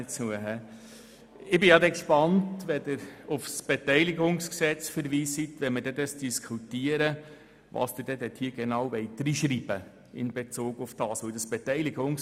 Ich bin angesichts Ihrer Verweise auf das BKWG gespannt, was Sie genau in dieses hineinschreiben wollen, wenn wir es beraten.